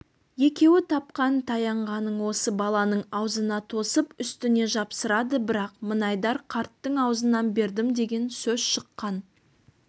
екеуі тапқан-таянғанын осы баланың аузына тосып үстіне жапсырады бірақ мінайдар қарттың аузынан бердім деген сөз шыққан